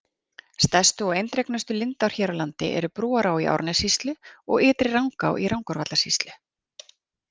Stærstu og eindregnustu lindár hér á landi eru Brúará í Árnessýslu og Ytri-Rangá í Rangárvallasýslu.